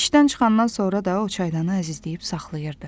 İşdən çıxandan sonra da o çaydanı əzizləyib saxlayırdı.